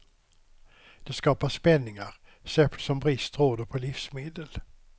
Det skapar spänningar, särskilt som brist råder på livsmedel.